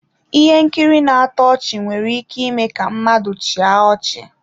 Ihe nkiri na-atọ ọchị nwere ike ime ka mmadụ chịa ọchị.